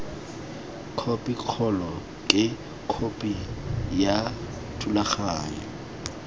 khopikgolo ke khopi ya thulaganyo